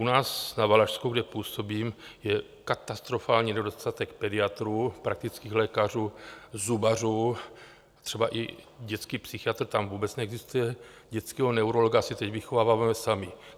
U nás na Valašsku, kde působím, je katastrofální nedostatek pediatrů, praktických lékařů, zubařů, třeba i dětský psychiatr tam vůbec neexistuje, dětského neurologa si teď vychováváme sami.